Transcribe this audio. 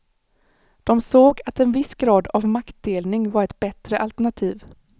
De såg att en viss grad av maktdelning var ett bättre alternativ.